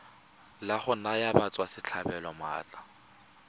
la go naya batswasetlhabelo maatla